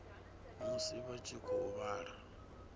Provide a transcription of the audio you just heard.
musi vha tshi khou vhala